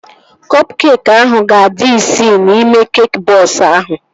Kọp keekị ahụ ga-adị isii n'ime keekị bọks ahụ